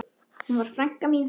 Hún var frænka mín.